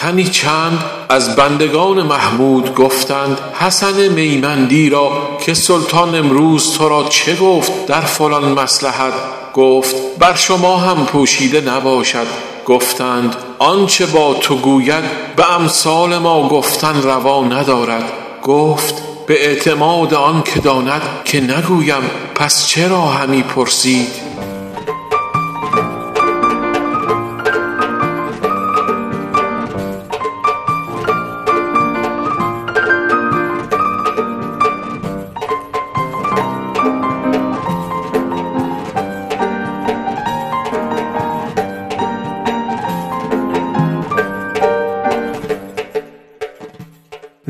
تنی چند از بندگان محمود گفتند حسن میمندی را که سلطان امروز تو را چه گفت در فلان مصلحت گفت بر شما هم پوشیده نباشد گفتند آنچه با تو گوید به امثال ما گفتن روا ندارد گفت به اعتماد آن که داند که نگویم پس چرا همی پرسید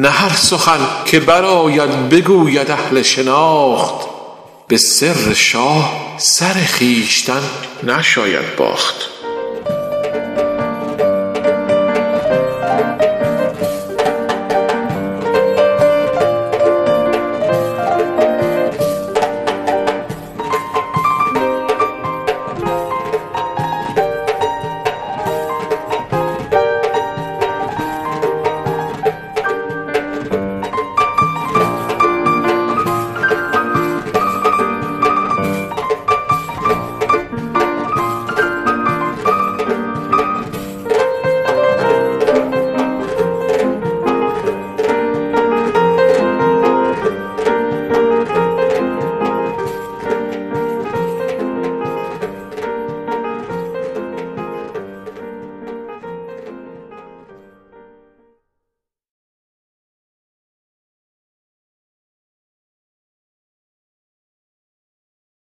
نه هر سخن که برآید بگوید اهل شناخت به سر شاه سر خویشتن نشاید باخت